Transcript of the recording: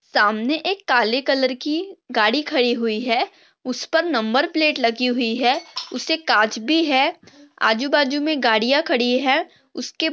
सामने एक काले कलर की गाड़ी खड़ी हुई है उसपर नंबर प्लेट लगी हुई है उसे काच भी है आजूबाजू में गाड़िया खड़ी है उसके--